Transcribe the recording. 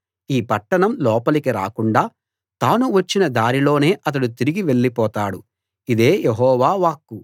ఈ పట్టణం లోపలికి రాకుండా తాను వచ్చిన దారిలోనే అతడు తిరిగి వెళ్ళిపోతాడు ఇదే యెహోవా వాక్కు